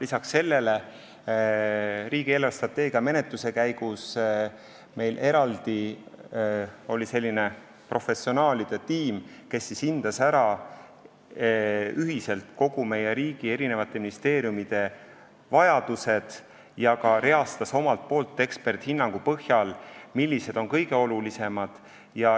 Peale selle, riigi eelarvestrateegia menetluse käigus oli meil eraldi selline professionaalide tiim, kes siis hindas ära ühiselt kogu meie riigi eri ministeeriumide vajadused ja reastas eksperdihinnangu põhjal, millised neist on kõige olulisemad.